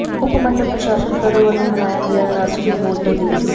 ਉਪ ਮੰਡਲ ਪ੍ਰਸ਼ਾਸ਼ਨ ਖਰੜ ਵਲੋਂ ਮਨਾਇਆ ਗਿਆ ਰਾਸ਼ਟਰੀ ਵੋਟਰ ਦਿਵਸ